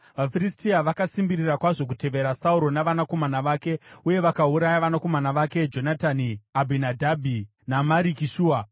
VaFiristia vakasimbirira kwazvo kuteverera Sauro navanakomana vake, uye vakauraya vanakomana vake, Jonatani, Abhinadhabhi naMariki-Shua.